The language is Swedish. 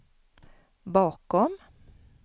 bakom